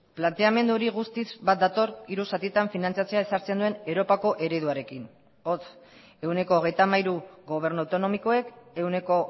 planteamendu hori guztiz bat dator hiru zatitan finantzatzea ezartzen duen europako ereduarekin hots ehuneko hogeita hamairu gobernu autonomikoek ehuneko